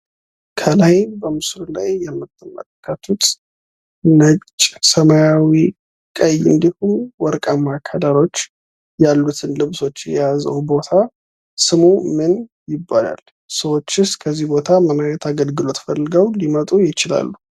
ከላይ በምስሉ ላይ የምንትመለከቱት ነጭ፣ ሰማያዊ ቀይ እንዲሁም ወርቃማ ከለሮች ያሉትን ልብሶች የያዘው ቦታ ስሙ ምን ይባላል። ሰዎችስ ከዚህ ምን አይነት አገልግሎት ፈልገው ሊመጡ ይችላሉ።